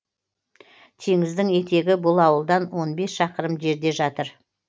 теңіздің етегі бұл ауылдан он бес шақырым жерде жатыр